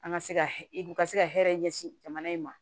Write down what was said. An ka se ka hu ka se ka hɛrɛ ɲɛsin jamana in ma